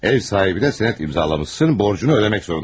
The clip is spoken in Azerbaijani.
Ev sahibinə sənət imzalamışsan, borcunu ödəmək zorundasan.